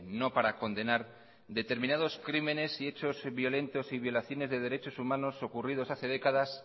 no para condenar determinados crímenes y hechos violentos y violaciones de derechos humanos ocurridos hace décadas